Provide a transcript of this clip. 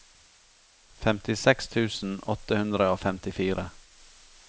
femtiseks tusen åtte hundre og femtifire